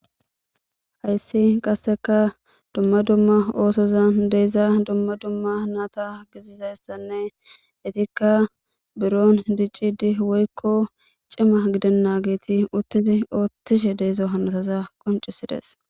Hayissi qasekka dumma dumma osozan de'iza dumma dumma nata besizayisanne etika buron dicidi woyikko cima gidenaget utidi othishshe de'izo hanotaza qoncisidess